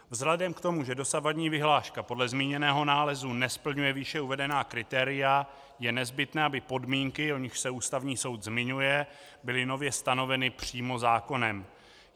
Vzhledem k tomu, že dosavadní vyhláška podle zmíněného nálezu nesplňuje výše uvedená kritéria, je nezbytné, aby podmínky, o nichž se Ústavní soud zmiňuje, byly nově stanoveny přímo zákonem.